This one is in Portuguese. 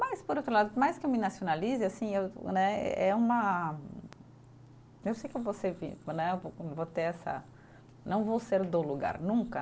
Mas, por outro lado, por mais que eu me nacionalize, assim eu né, é uma, eu sei que eu vou né, vou ter essa, não vou ser do lugar, nunca.